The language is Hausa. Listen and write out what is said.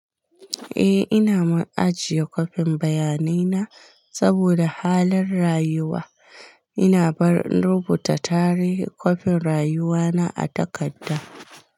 Eh, ina ma ajiye kwafin bayanai na saboda halan rayuwa. Ina bar rubuta tarihi kwafin rayuwa na a takarda.